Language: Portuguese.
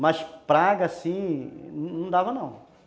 Mas praga, assim, não dava não.